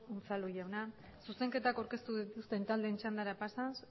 unzalu jauna zuzenketak aurkeztu dituzten taldeen txandara pasaz